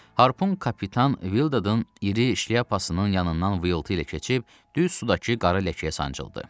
Harpun kapitan Vildadın iri şlyapasının yanından vıyıltı ilə keçib düz sudakı qara ləkəyə sancıldı.